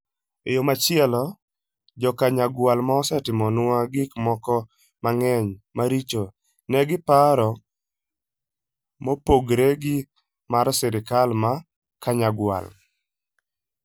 E yo machielo, Jo - Kanyagwal mosetimonwa gik moko mang'eny maricho, nigi paro mopogore gi mar sirkal mar Kanyagwal...